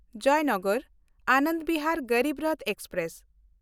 Jaynagar-Anand Bihar Garib Rath express